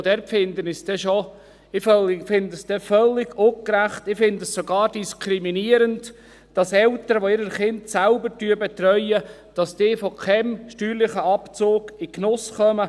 Dort finde ich es dann schon völlig ungerecht, sogar diskriminierend, dass Eltern, welche ihre Kinder selbst betreuen, in keinen Genuss steuerlicher Abzüge kommen.